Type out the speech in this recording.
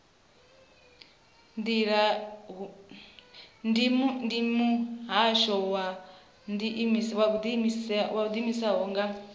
ndi muhasho wo ḓiimisaho nga